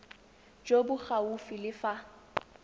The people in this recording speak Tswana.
jo bo gaufi le fa